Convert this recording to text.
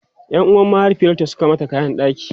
Yan uwan mahaifiyarta Suka mata kayan ɗaki